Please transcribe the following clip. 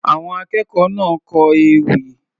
Àwọn akẹ́kọ̀ọ́ náà kọ ewì.